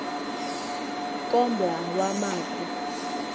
kombla wama ku